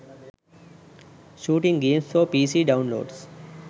shooting games for pc downloads